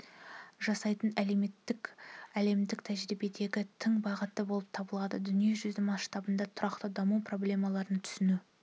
жасайтын әлемдік тәжірибедегі тың бағыт болып табылды дүние жүзі масштабында тұрақты даму проблемаларын түсіну